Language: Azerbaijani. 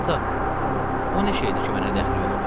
Ata, o nə şeydir ki, mənə dəxli yoxdur?